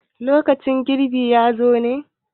lokacin girbi ya zo ñe?